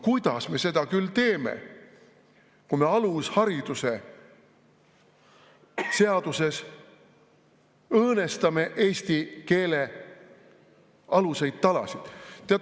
Kuidas me seda küll teeme, kui me alushariduse seaduses õõnestame eesti keele aluseid, talasid?